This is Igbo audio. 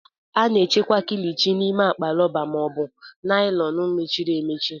A na-echekwa Kilichi n'ime akpa rọba ma ọ bụ naịlọn mechiri emechi